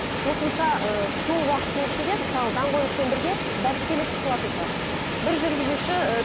қосымша ыыы сол уақыттың ішінде мысалы даңғойлықпен бірге бәсекелестік туатын шығар бір жүргізуші ы